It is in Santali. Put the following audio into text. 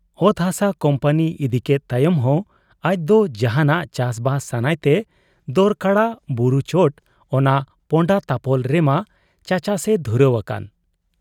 ᱚᱛ ᱦᱟᱥᱟ ᱠᱩᱢᱯᱟᱹᱱᱤ ᱤᱫᱤᱠᱮᱫ ᱛᱟᱭᱚᱢ ᱦᱚᱸ ᱟᱡᱫᱚ ᱡᱟᱦᱟᱸᱱᱟᱜ ᱪᱟᱥᱵᱟᱥ ᱥᱟᱱᱟᱭ ᱛᱮ ᱫᱚᱨᱠᱚᱲᱟ ᱵᱩᱨᱩ ᱪᱚᱴ ᱚᱱᱟ ᱯᱚᱸᱰᱟᱛᱟᱯᱚᱞ ᱨᱮᱢᱟ ᱪᱟᱪᱟᱥᱮ ᱫᱷᱩᱨᱟᱹᱣ ᱟᱠᱟᱱ ᱾